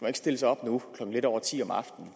ikke stille sig op nu klokken lidt over ti om aftenen